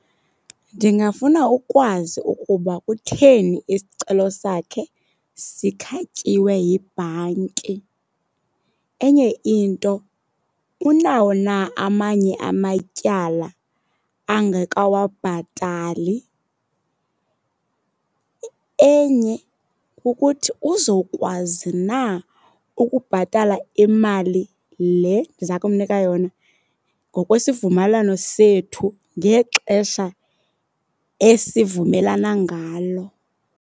Ndingafuna ukwazi ukuba kutheni isicelo sakhe sikhatyiwe yibhanki. Enye into, unawo na amanye amatyala angakawabhatali. Enye kukuthi uzokwazi na ukubhatala imali le ndiza kumnika yona ngokwesivumelwano sethu ngexesha esivumelana ngalo.